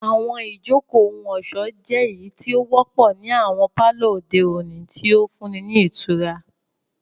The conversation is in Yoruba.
Àwọn ijoko ohun-ọṣọ jẹ eyiti o wọpọ ni awọn palọ ode oni, ti o funni ni itura.